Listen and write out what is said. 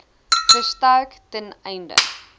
versterk ten einde